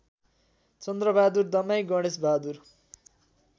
Chandra Bahadur Damai Ganesh Bahadur